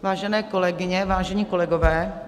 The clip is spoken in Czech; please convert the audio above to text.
Vážené kolegyně, vážení kolegové.